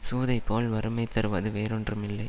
சூதைபோல் வறுமை தருவது வேறொன்றும் இல்லை